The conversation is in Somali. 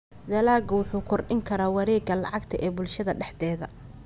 Dalaggu wuxuu kordhin karaa wareegga lacagta ee bulshada dhexdeeda.